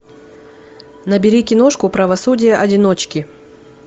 набери киношку правосудие одиночки